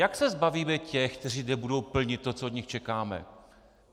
Jak se zbavíme těch, kteří nebudou plnit to, co od nich čekáme?